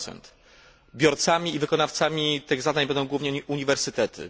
3. Biorcami i wykonawcami tych zadań będą głównie uniwersytety.